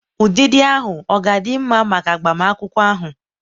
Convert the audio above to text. ụdịdị ahụ ọ ga-adị mma maka agbamakwụkwọ ahụ?